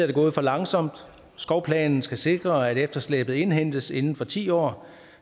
det gået for langsomt skovplanen skal sikre at efterslæbet indhentes inden for ti år